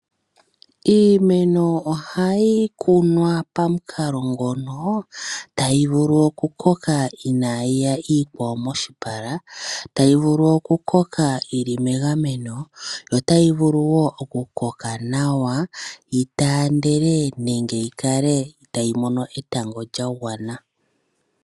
Iimeno ohayi kunwa pamukalo ngono tayi vulu oku koka inayiya iikwawo moshipala. Tayi vulu oku koka yili megameno, yo tayi vulu wo oku koka nawa yi taandele, nenge yi kale tayi mono etango lya gwana.